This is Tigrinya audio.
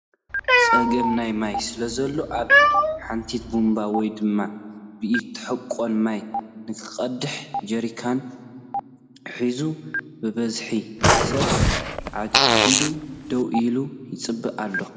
ፀገም ናይ ማይ ስለዘሎ ኣብ ሓንቲት ቡምባ ወይ ድማ ብኢድ ትሕቐን ማይ ንኽቐድሕ ጀሪካናቱ ሒዙ ብዙሕ ሰብ ተዓጊዱ ደው ኢሉ ይፅበይ ኣሎ ።